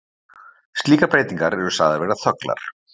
Slíkar breytingar eru sagðar vera þöglar.